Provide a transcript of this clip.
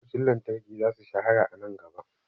Motocin lantarki za su shahara a nan gaba.